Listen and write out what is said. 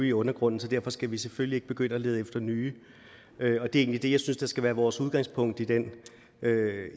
i undergrunden så derfor skal vi selvfølgelig ikke begynde at lede efter nye det er egentlig det jeg synes skal være vores udgangspunkt